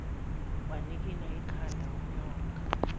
wanikina ikhanda unyoka